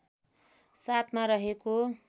७ मा रहेको